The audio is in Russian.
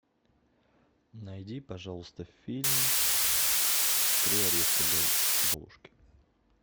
найди пожалуйста фильм три орешка для золушки